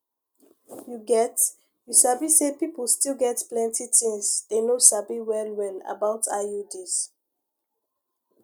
you get you sabi say people still get plenty things dey no sabi well well about iuds